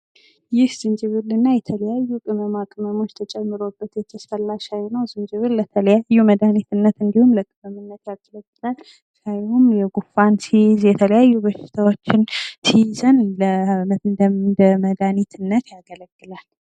ዝንጅብል እና የተለያዩ ቅመማቅመም ተጨምሮበት የተፈላ ሻይ ነው። ዝንጅብል ለተለያዩ መድሀኒትነት ያገለግላል እና እንዲሁም ሻይም ጉንፋን ሲይዝ የተለያዩ በሽታዎች ሲዙን እንደ መዳኒትነት ያገለግላል።